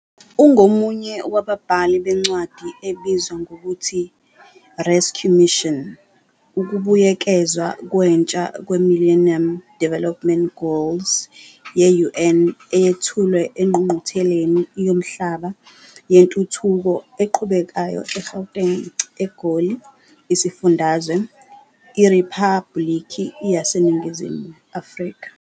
Ungomunye wababhali bencwadi ebizwa ngokuthi- "Rescue Mission", ukubuyekezwa kwentsha kweMillennium Development Goals ye-UN eyethulwe eNgqungqutheleni Yomhlaba Yentuthuko Eqhubekayo, eGauteng, EGoli, isifundazwe, IRiphabhuliki yaseNingizimu Afrika.